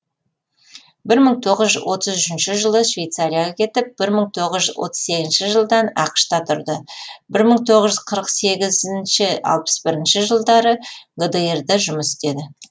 бір мың тоғыз жүз отыз үшінші жылы швейцарияға кетіп бір мың тоғыз жүз отыз сегізінші жылдан ақш та тұрды бір мың тоғыз жүз қырық сегізінші алпыс бірінші жылдары гдр да жұмыс істеді